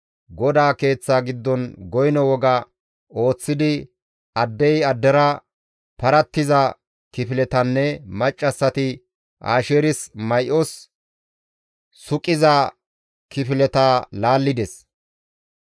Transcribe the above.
GODAA keeththa giddon goyno woga ooththidi addey addera parattiza kifiletanne maccassati Asheersi may7os suqiza kifileta laallides.